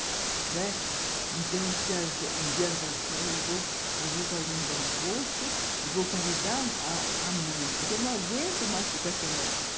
Né, então, um dia ela falou assim, eu vou fazer um almoço e vou convidar a a mãe, porque eu não aguento mais ficar sem ela.